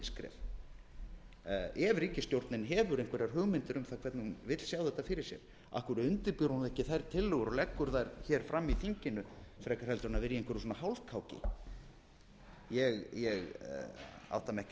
milliskref ef ríkisstjórnin hefur einhverjar hugmyndir um það hvernig hún vill sjá þetta fyrir sér af hverju undirbýr hún ekki þær tillögur og leggur þær hér fram í þinginu